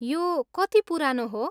यो कति पुरानो हो?